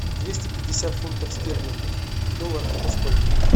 двести пятьдесят фунтов стерлингов в долларах это сколько